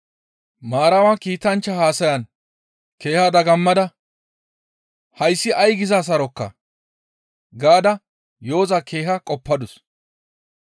Maarama kiitanchchaa haasayan keeha dagammada, «Hayssi ay giza sarokaa?» gaada yo7oza keeha qoppadus.